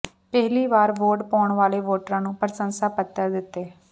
ਪਹਿਲੀ ਵਾਰ ਵੋਟ ਪਾਉਣ ਵਾਲੇ ਵੋਟਰਾਂ ਨੂੰ ਪ੍ਰਸੰਸਾ ਪੱਤਰ ਦਿੱਤੇ